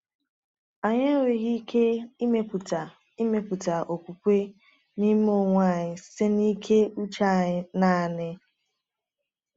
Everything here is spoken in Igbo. Anyị enweghị ike ịmepụta ịmepụta okwukwe n’ime onwe anyị site na ike uche anyị naanị.